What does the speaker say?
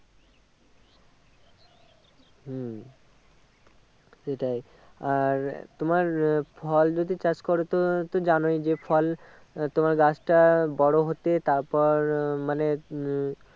হম সেটাই আর তোমার আহ ফল যদি চাষ করো তো জানোই যে ফল তোমার গাছটা বড়ো হতে তারপর মানে উম